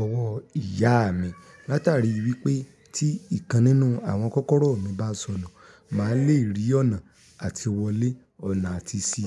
ọwọ́ ìyá mi. Látàrí wípé tí ǹkan nínú àwọn kọ́kọ́rọ́ mi bá sọnù, màá lè rí ọ̀nà àti wọlé, ọ̀nà àti sí.